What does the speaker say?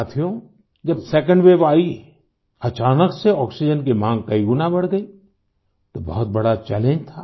साथियो जब second wave आई अचानक से आक्सीजेन की माँग कई गुना बढ़ गई तो बहुत बड़ा चैलेंज था